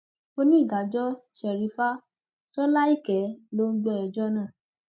onídàájọ sherifa sọnàìkẹ ló ń gbọ ẹjọ náà